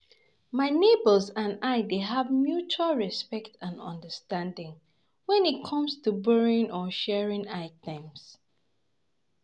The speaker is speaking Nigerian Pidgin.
My neighbors and I dey have mutual respect and understanding when it come to borrowing or sharing items.